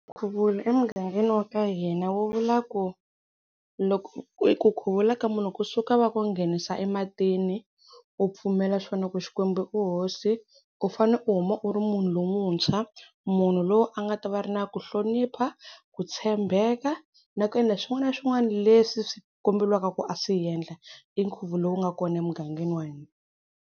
Nkhuvulo emugangeni wa ka hina wu vula ku loko ku khuvula ka munhu kusuka va ku nghenisa ematini u pfumela swona ku Xikwembu i hosi, u fane u huma u ri munhu lomuntshwa, munhu loyi a nga ta va a ri na ku hlonipha, ku tshembeka na ku endla swin'wana na swin'wana leswi swi kombeliwaka ku a swi endla. I nkhuvulo lowu nga kona emugangeni wa hina.